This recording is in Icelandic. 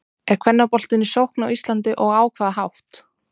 Er kvennaboltinn í sókn á Íslandi og á hvaða hátt?